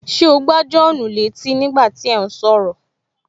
Ṣé o gbá Jòhánù létí ní gbà tí ẹ̀ ún sọ̀rọ̀?